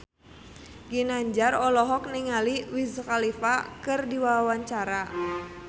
Ginanjar olohok ningali Wiz Khalifa keur diwawancara